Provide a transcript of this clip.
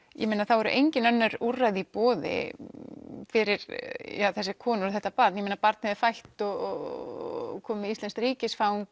eru engin önnur úrræði í boði fyrir þessar konur og þetta barn barnið er fætt og komið með íslenskt ríkisfang